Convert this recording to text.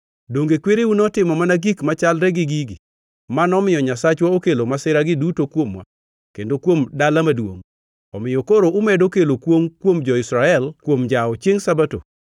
Donge kwereu notimo mana gik machalre gi gigi, ma nomiyo Nyasachwa okelo masiragi duto kuomwa kendo kuom dala maduongʼ? Omiyo koro umedo kelo kwongʼ kuom jo-Israel kuom njawo chiengʼ Sabato.”